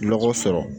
Nɔgɔ sɔrɔ